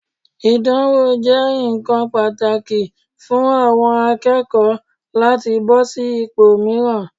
Ìdánwò jẹ́ ǹkan pàtàkì fún àwọn akẹ́kọ̀ọ́ láti bọ́ sí ipò mìíràn.